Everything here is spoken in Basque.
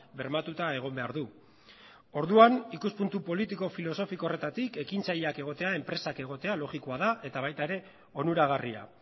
bermatuta egon behar du orduan ikuspuntu politiko filosofiko horretatik ekintzaileak egotea enpresak egotea logikoa da eta baita ere onuragarria